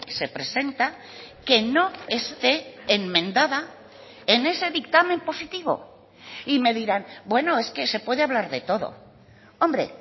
se presenta que no esté enmendada en ese dictamen positivo y me dirán bueno es que se puede hablar de todo hombre